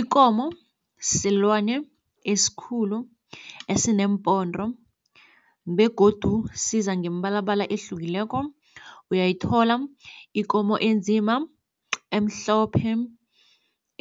Ikomo silwane eskhulu esineempondo begodu siza ngemibalabala ehlukileko. Uyayithola ikomo enzima, emhlophe,